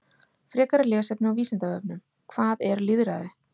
Frekara lesefni á Vísindavefnum: Hvað er lýðræði?